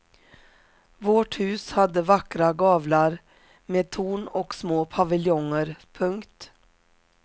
Vårt hus hade vackra gavlar med torn och små paviljonger. punkt